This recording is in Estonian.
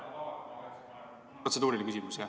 Protseduuriline küsimus, jah.